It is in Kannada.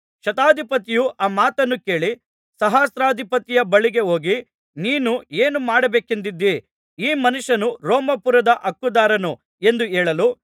ಶತಾಧಿಪತಿಯು ಆ ಮಾತನ್ನು ಕೇಳಿ ಸಹಸ್ರಾಧಿಪತಿಯ ಬಳಿಗೆ ಹೋಗಿ ನೀನು ಏನು ಮಾಡಬೇಕೆಂದಿದ್ದೀ ಈ ಮನುಷ್ಯನು ರೋಮಾಪುರದ ಹಕ್ಕುದಾರನು ಎಂದು ಹೇಳಲು